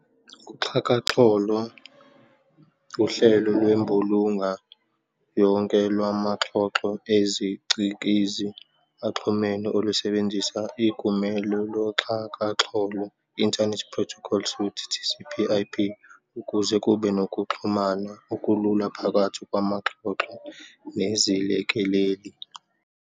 uXhakaxholo uhlelo lwembulunga yonke lwamaxhoxho ezicikizi axhumene olusebenzisa iGumelo loxhakaxholo, Internet protocol suite, TCP-IP, ukuze kube nokuxhumana okulula phakathi kwamaxhoxho nezilekeleli.